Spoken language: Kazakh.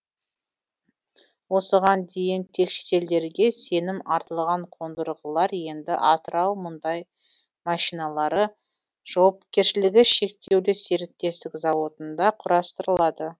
осыған дейін тек шетелдерге сенім артылған қондырғылар енді атырау мұндай машиналары жауапкершілігі шектеулі серіктестік зауытында құрастырылады